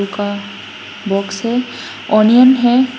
का बॉक्स है ओनियन है।